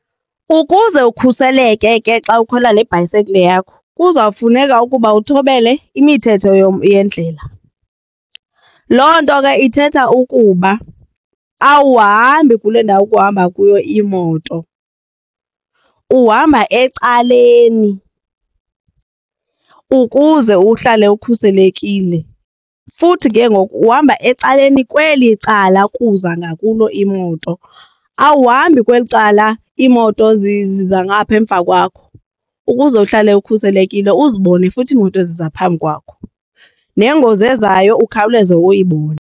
Ukuze ukhuseleke ke xa ukhwela le bhayisekile yakho kuzawufuneka ukuba uthobele imithetho yendlela. Loo nto ke ithetha ukuba awuhambi kule ndawo kuhamba kuyo iimoto. Uhamba ecaleni ukuze uhlale ukhuselekile futhi ke ngoku uhamba ecaleni kweli cala kuza ngakulo imoto, awuhambi kweli cala iimoto ziza ngaphaa emva kwakho ukuze uhlale ukhuselekile uzibone futhi iimoto eziza phambi kwakho nengozi ezayo ukhawuleze uyibone.